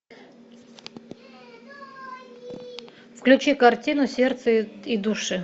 включи картину сердце и души